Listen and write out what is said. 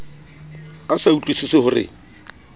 a sa utlwusise ho re